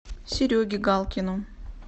сереге галкину